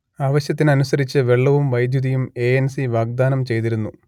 ആവശ്യത്തിനനുസരിച്ച് വെള്ളവും വൈദ്യുതിയും എ എൻ സി വാഗ്ദാനം ചെയ്തിരുന്നു